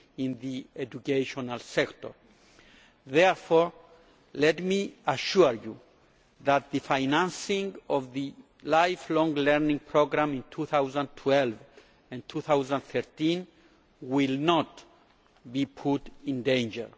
in the educational sector. Therefore, let me assure you that the financing of the Lifelong Learning Programme in 2012 and 2013 will not be put in danger.